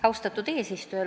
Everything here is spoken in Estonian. Austatud eesistuja!